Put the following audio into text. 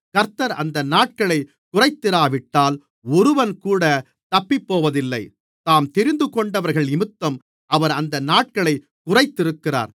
கர்த்தர் அந்த நாட்களைக் குறைத்திராவிட்டால் ஒருவன்கூட தப்பிப்போவதில்லை தாம் தெரிந்துகொண்டவர்களினிமித்தம் அவர் அந்த நாட்களைக் குறைத்திருக்கிறார்